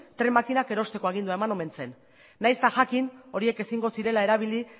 tren makinak erosteko agindua eman omen zen nahiz eta jakin horiek ezingo zirela erabili